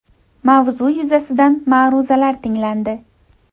Mavzu yuzasidan ma’ruzalar tinglandi.